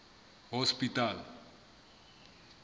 hospital